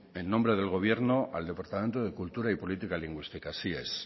en nombre del gobierno al departamento de cultura y política lingüística así es